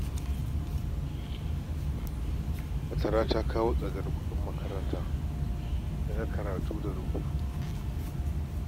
Fatara ta kawo tsadar kuɗin makaranta da kayan karatu da rubutu